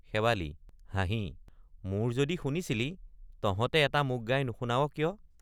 শেৱালি— হাঁহি মোৰ যদি শুনিছিলি তহঁতে এটা মোক গাই নুশুনাৱ কিয়?